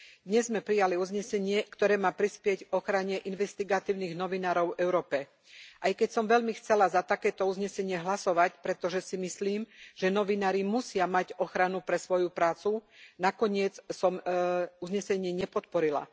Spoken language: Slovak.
Dnes sme prijali uznesenie, ktoré má prispieť k ochrane investigatívnych novinárov v Európe. Aj keď som veľmi chcela za takéto uznesenie hlasovať, pretože si myslím, že novinári musia mať ochranu pre svoju prácu, nakoniec som uznesenie nepodporila.